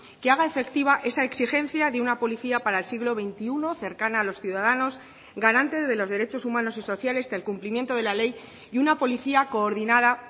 que haga efectiva esa exigencia de una policía para el siglo veintiuno cercana a los ciudadanos garante de los derechos humanos y sociales del cumplimiento de la ley y una policía coordinada